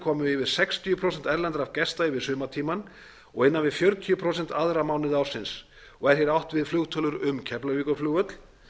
komu yfir sextíu prósent erlendra gesta yfir sumartímann og innan við fjörutíu prósent aðra mánuði ársins og er hér átt við flugtölur um keflavíkurflugvöll